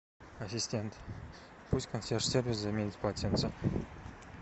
ассистент пусть консьерж сервис заменит полотенца